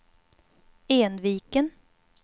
Enviken